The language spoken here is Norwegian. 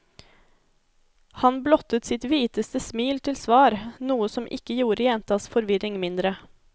Han blottet sitt hviteste smil til svar, noe som ikke gjorde jentas forvirring mindre.